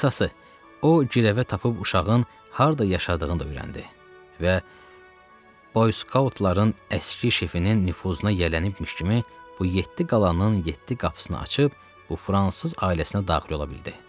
Qısası, o girəvə tapıb uşağın harda yaşadığını da öyrəndi və boyskautların əski şefinin nüfuzuna yələnibmiş kimi bu yeddi qalanın yeddi qapısını açıb bu fransız ailəsinə daxil ola bildi.